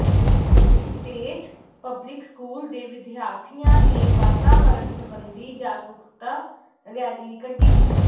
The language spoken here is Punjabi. ਸਟੇਟ ਪਬਲਿਕ ਸਕੂਲ ਦੇ ਵਿਦਿਆਰਥੀਆਂ ਨੇ ਵਾਤਾਵਰਨ ਸਬੰਧੀ ਜਾਗਰੂਕਤਾ ਰੈਲੀ ਕੱਢੀ